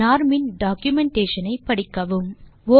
norm in documentation ஐ படிக்கவும்